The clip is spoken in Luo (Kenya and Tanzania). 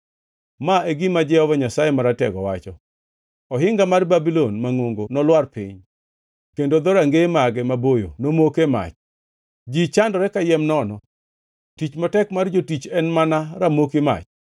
Ma e gima Jehova Nyasaye Maratego wacho: “Ohinga mar Babulon mangʼongo nolwar piny kendo dhorangeye mage maboyo nomoke mach; ji chandore kayiem nono, tich matek mar jotich en mana ramoki mach.”